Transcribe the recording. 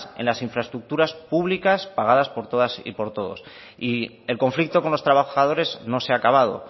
en las infraestructuras públicas pagadas por todas y por todos y el conflicto con los trabajadores no se ha acabado